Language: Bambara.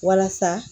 Walasa